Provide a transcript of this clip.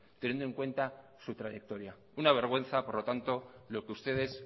teniendo en cuenta su trayectoria una vergüenza por lo tanto lo que ustedes